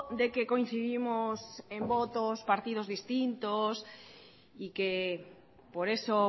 de que coincidimos en votos partidos distintos y que por eso